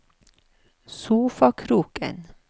sofakroken